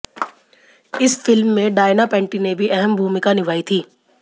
इस फिल्म में डायना पेंटी ने भी अहम भूमिका निभाई थी